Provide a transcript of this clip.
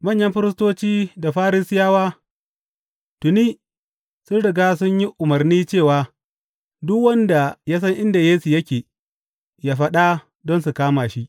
Manyan firistoci da Farisiyawa tuni sun riga sun yi umarni cewa duk wanda ya san inda Yesu yake, yă faɗa don su kama shi.